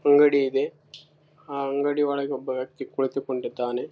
ನಮ್ಮ ಫ್ರೆಂಡಿಂದು ಬೋಸ್ಟ್ ಇರ್ತದ ಫೇವರೆಟ್ ಅವನ್ ಬೂಸ್ಟ್ ಅಂತೂ ದಿನಾ ತಗೊಂತಾನೆ ಇರ್ತಾನೆ.